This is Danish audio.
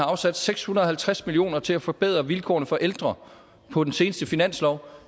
afsat seks hundrede og halvtreds million kroner til at forbedre vilkårene for ældre på den seneste finanslov